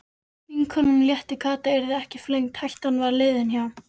Vinkonunum létti, Kata yrði ekki flengd, hættan var liðin hjá.